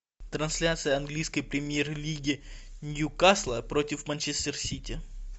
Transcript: трансляция английской премьер лиги ньюкасла против манчестер сити